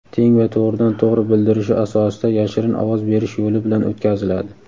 teng va to‘g‘ridan-to‘g‘ri bildirishi asosida yashirin ovoz berish yo‘li bilan o‘tkaziladi.